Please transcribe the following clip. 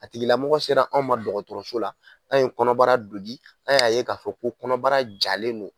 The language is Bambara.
A tigilamɔgɔ sera anw ma dɔgɔtɔrɔso la, anw ye kɔnɔbara dogi ,anw ya ye ka fɔ ko kɔnɔbara jalen don.